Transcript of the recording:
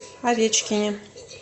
овечкине